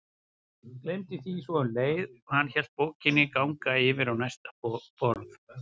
Gleymdi því svo um leið og hann lét bókina ganga yfir á næsta borð.